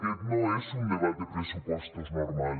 aquest no és un debat de pressupostos normal